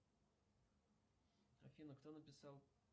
афина кто написал